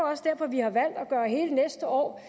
også derfor vi har valgt at gøre hele næste år